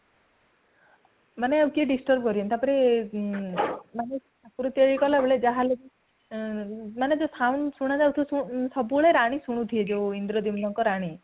ମାନେ ଆଉ କେହି disturb କରିବେନି ତାପରେ ମାନେ ଠାକୁରଙ୍କୁ ଇଏ କଲାବେଳେ ଯାହା ହେଲେ ବି, ମାନେ ଜଉ sound ଶୁଣା ଯାଉଥିବ ସବୁବେଳେ ରାଣୀ ଶୁଣୁଥିବେ ଜଉ ଇନ୍ଦ୍ରଦ୍ୟୁମ୍ନଙ୍କ ରାଣୀ